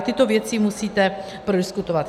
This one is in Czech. A tyto věci musíte prodiskutovat.